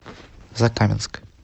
закаменск